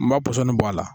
N b'a pɔsɔni bɔ a la